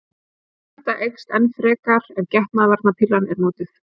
Þessi hætta eykst enn frekar ef getnaðarvarnarpillan er notuð.